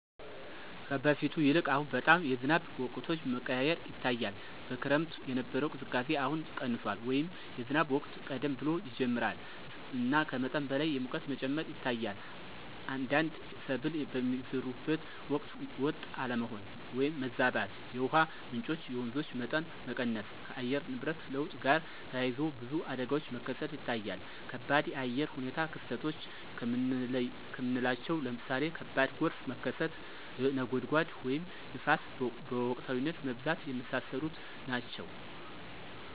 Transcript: ከበፊቱ ይልቅ አሁን በጣም የዝናብ ወቅቶች መቀያየር ይታያል። በክረምት የነበረው ቅዝቃዜ አሁን ቀንሷል” ወይም “የዝናብ ወቅት ቀደም ብሎ ይጀምራል እና ከመጠን በላይ የሙቀት መጨመር ይታያል። አንዳንድ ሰብል የሚዘሩበት ወቅት ወጥ አለመሆን (ማዛባት)።የውሃ ምንጮች (የወንዞች) መጠን መቀነስ። ከአየር ንብረት ለውጥ ጋር ተያይዞ ብዙ አደጋዎች መከሰት ይታያል ከባድ የአየር ሁኔታ ክስተቶች ከምናለቸው ለምሳሌ ከባድ ጎርፍ መከሰት፣ (ነጎድጓድ) ወይም ንፋስ በወቅታዊነት መብዛት። የመሳሰሉት ናቸው።